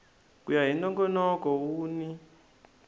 ku ya hi nongonoko wun